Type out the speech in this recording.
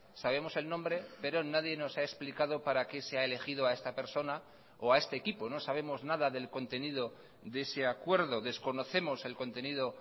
sabemos el nombre pero nadie nos ha explicado para qué se ha elegido a esta persona o a este equipo no sabemos nada del contenido de ese acuerdo desconocemos el contenido